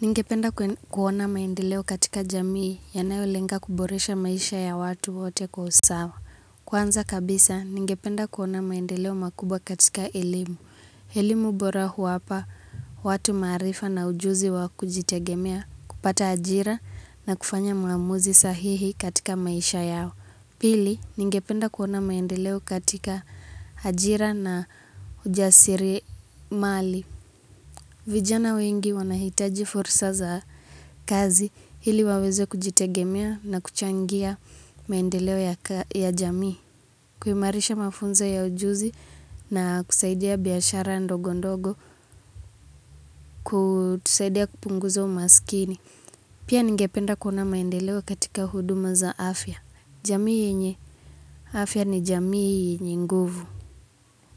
Ningependa kuona maendeleo katika jamii yanayolenga kuboresha maisha ya watu wote kwa usawa. Kwanza kabisa, ningependa kuona maendeleo makubwa katika ilimu. Ilimu bora huwapa, watu marifa na ujuzi wa kujitegemea, kupata hajira na kufanya muamuzi sahihi katika maisha yao. Pili, ningependa kuona maendeleo katika hajira na ujasiri mali. Vijana wengi wanahitaji forsa za kazi hili waweze kujitegemea na kuchangia maendeleo ya jamii. Kuhimarisha mafunza ya ujuzi na kusaidia biashara ndogo ndogo kusaidia kupunguza umaskini. Pia ningependa kuna maendeleo katika huduma za afya. Jamii yenye afya ni jamii nguvu.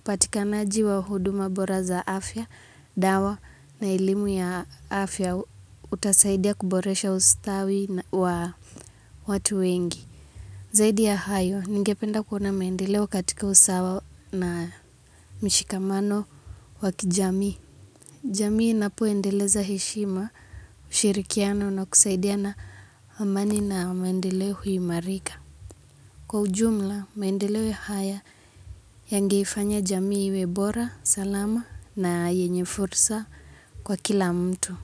Patika naaji wa huduma bora za afya, dawa na ilimu ya afya utasaidia kuboresha ustawi wa watu wengi. Zaidi ya hayo, ningependa kuna mendelewa katika usawa na mishikamano wakijami. Jami inapuendeleza heshima ushirikiano na kusaidia na amani na mendelewa huimarika. Kwa ujumla, maendelewe haya yangifanya jamiwebora, salama na yenyefursa kwa kila mtu.